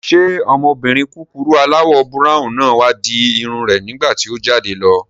Ṣé ọmọbìnrin kúkurú aláwọ̀ búráwùn náà wá di irun rẹ̀ nígbàtí o jáde lọ?